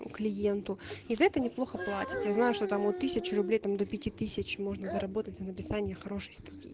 клиенту это и за это неплохо платят я знаю что там вот тысячу рублей там до пяти тысяч можно заработать на написании хорошей статьи